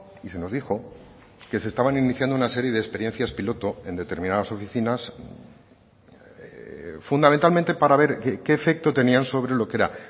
y se nos dijo que se estaban iniciando una serie de experiencias piloto en determinadas oficinas fundamentalmente para ver qué efecto tenían sobre lo que era